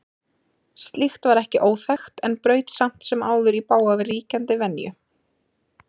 Slíkt var ekki óþekkt en braut samt sem áður í bága við ríkjandi venju.